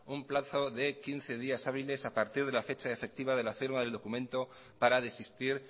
un plazo de quince días hábiles a partir de la fecha efectiva de la firma del documento para desistir